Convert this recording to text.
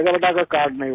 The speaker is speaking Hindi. बेटा अगर कार्ड नहीं होगा